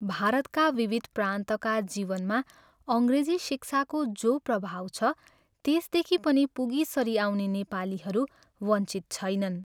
भारतका विविध प्रान्तका जीवनमा अङ्ग्रेजी शिक्षाको जो प्रभाव छ त्यसदेखि पनि पुगीसरी पाउने नेपालीहरू वञ्चित छैनन्।